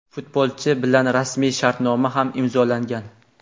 Futbolchi bilan rasmiy shartnoma ham imzolangan;.